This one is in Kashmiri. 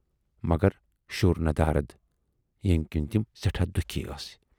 مگر شُر ندارَد، ییمہِ کِنۍ تِم سٮ۪ٹھاہ دُکھی ٲسۍ۔